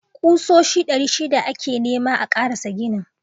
Kusoshi ɗari shida ake nema a karasa ginin.